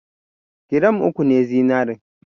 Gram uku ne zinarin.